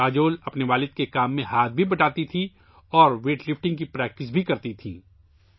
کاجول اپنے والد کے کام میں ہاتھ بھی بٹاتی تھی اور ویٹ لفٹنگ کی پریکٹس بھی کرتی تھی